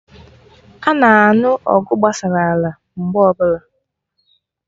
Ana anụ ọgụ gbasara ala mgbe ọbụla